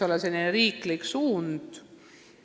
Kas see võiks olla riiklik suund?